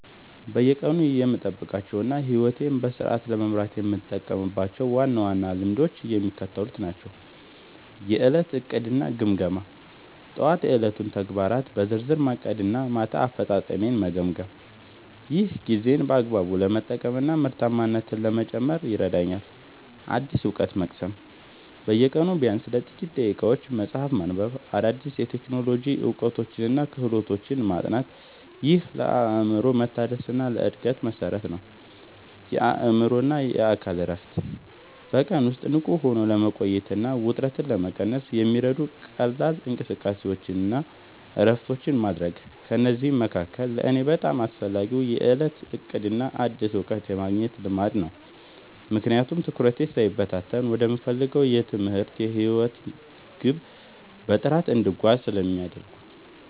በየቀኑ የምጠብቃቸውና ሕይወቴን በስርዓት ለመምራት የምጠቀምባቸው ዋና ዋና ልማዶች የሚከተሉት ናቸው፦ የዕለት ዕቅድና ግምገማ፦ ጠዋት የዕለቱን ተግባራት በዝርዝር ማቀድና ማታ አፈጻጸሜን መገምገም። ይህ ጊዜን በአግባቡ ለመጠቀምና ምርታማነትን ለመጨመር ይረዳኛል። አዲስ እውቀት መቅሰም፦ በየቀኑ ቢያንስ ለጥቂት ደቂቃዎች መጽሐፍ ማንበብ፣ አዳዲስ የቴክኖሎጂ እውቀቶችንና ክህሎቶችን ማጥናት። ይህ ለአእምሮ መታደስና ለዕድገት መሠረት ነው። የአእምሮና አካል እረፍት፦ በቀን ውስጥ ንቁ ሆኖ ለመቆየትና ውጥረትን ለመቀነስ የሚረዱ ቀላል እንቅስቃሴዎችንና እረፍቶችን ማድረግ። ከእነዚህ መካከል ለእኔ በጣም አስፈላጊው የዕለት ዕቅድና አዲስ እውቀት የማግኘት ልማድ ነው፤ ምክንያቱም ትኩረቴ ሳይበታተን ወደምፈልገው የትምህርትና የሕይወት ግብ በጥራት እንድጓዝ ስለሚያደርጉኝ።